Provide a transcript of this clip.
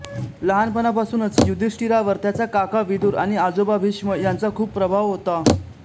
लहानपणापासूनच युधिष्ठिरावर त्याचा काका विदुर आणि आजोबा भीष्म यांचा खूप प्रभाव होता